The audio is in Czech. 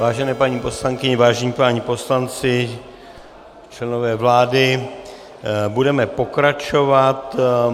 Vážené paní poslankyně, vážení páni poslanci, členové vlády, budeme pokračovat.